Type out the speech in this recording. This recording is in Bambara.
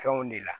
Fɛnw de la